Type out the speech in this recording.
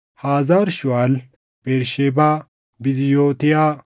Hazar Shuuʼaal, Bersheebaa, Biziyootiyaa,